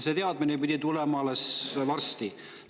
See teadmine pidi alles tulema, küll varsti.